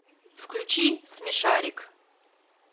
включи смешарик